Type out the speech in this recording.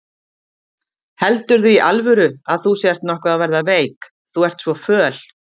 Heldurðu í alvöru að þú sért nokkuð að verða veik. þú ert svo föl?